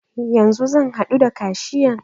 Yanzu zan haɗu da kashiyan.